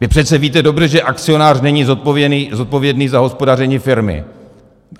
Vy přece víte dobře, že akcionář není zodpovědný za hospodaření firmy.